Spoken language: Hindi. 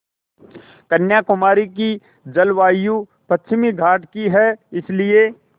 कन्याकुमारी की जलवायु पश्चिमी घाट की है इसलिए